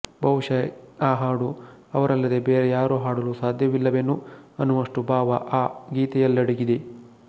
ಬಹುಶಃ ಆ ಹಾಡು ಅವರಲ್ಲದೆ ಬೇರೆ ಯಾರೂ ಹಾಡಲು ಸಾಧ್ಯವಿಲ್ಲವೇನೋ ಎನ್ನುವಷ್ಟು ಭಾವ ಆ ಗೀತೆಯಲ್ಲಡಗಿದೆ